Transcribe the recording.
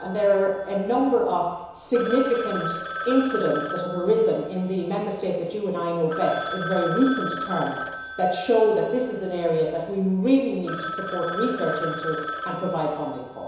There are a number of significant incidents which have arisen in the Member States that you and I know best in very recent terms which show that this is an area in which we really need to support research and provide funding.